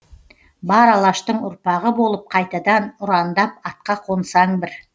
бар алаштың ұрпағы болып қайтадан ұрандап атқа қонсаң бір